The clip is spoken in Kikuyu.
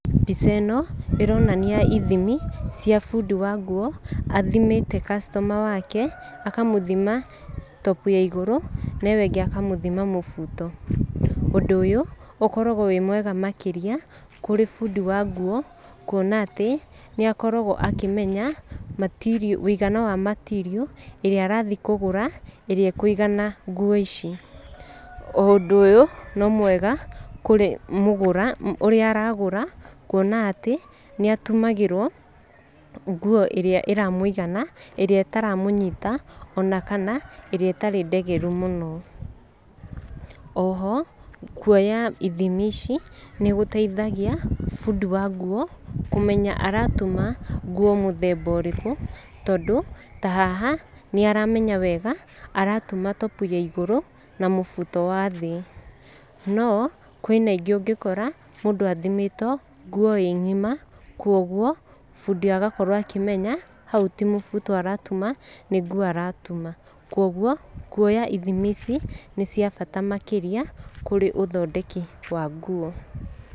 Mbica ĩno ĩronania ithimi cia bundi wa nguo athimĩte customer wake, akamũthima top ya igũrũ na ĩyo ĩngĩ akamũthima mũbuto. Ũndũ ũyũ ũkoragwo wĩ mwega makĩria kũrĩ bundi wa nguo. Kuona atĩ nĩ akoragwo akĩmenya ũigano wa material ĩrĩa arathiĩ kũgũra ĩrĩa ĩkũiganĩra nguo ici. O ũndũ ũyũ no mwega kũrĩ mũgũra ũrĩa aragũra kuona atĩ nĩ atumagĩrwo nguo irĩa ĩramũigana ĩrĩa ĩtaramũnyita ona kana ĩrĩa ĩtarĩ ndegeru mũno. Oho kuoya ithimi ici nĩ gũteithagia bundi wa nguo kũmenya aratuma nguo mũthemba ũrĩku. Tondũ ta haha nĩ aramenya wega aratuma top ya igũrũ na mũbuto wa thĩ. No kwĩna ingĩ ũngĩkora mũndũ athimĩtwo nguo ĩ ngima koguo bundi agakorwo akĩmenya hau ti mũbuto aratuma nĩ nguo aratuma. Koguo kuoya ithimi ici nĩ kwa bata makĩrĩa kũrĩ ũthondeki wa nguo.